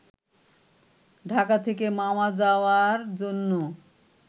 ঢাকা থেকে মাওয়া যাওয়ার জন্য